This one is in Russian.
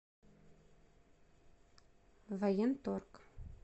военторг